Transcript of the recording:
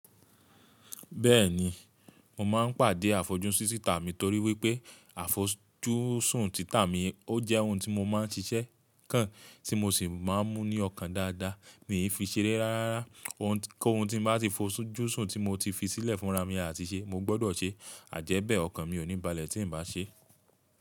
Bẹ́ẹ̀ni, mo máa ń pàdé àfojúsún títà mi torí wípé àfojúsùn títà mi ó jẹ́ ohun tí mo má ń ṣiṣẹ́ kan tí mo sì má ń mú ní ọkàn dáadáa, mi ò fi ṣeré rárá. Kọ́ ohun tí mo bá ti fojúsùn tí mo ti fi sílẹ̀ fúnra mi láti ṣe, mo gbọ́dọ̀ ṣe àjẹ́bẹ̀ ọkàn mi ò ní balẹ̀ tí n bá ṣe.